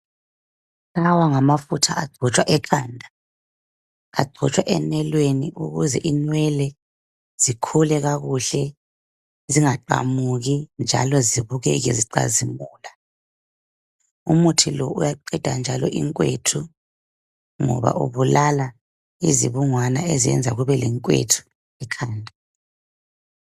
Lawa ngamafutha agcotshwa ekhanda agcotshwa enweleni ukuze inwele zikhule kakuhle zingaqamuki njalo zibukeke zicazimula. Umuthi lo uyaqeda njalo inkwethu ngoba ubulala izibungwana ezenza kubelenkwethu ekhanda.